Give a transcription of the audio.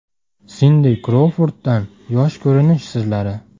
Sindi Krouforddan yosh ko‘rinish sirlari.